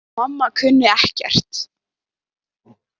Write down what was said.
Mamma kunni ekkert.